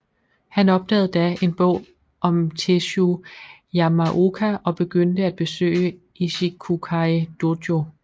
Han opdagede da en bog om Tesshu Yamaoka og begyndte at besøge Ichikukai dojo